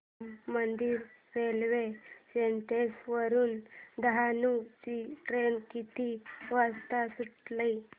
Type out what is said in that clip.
Ram Mandir railway station वरुन डहाणू ची train किती वाजता सुटेल